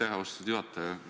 Aitäh, austatud juhataja!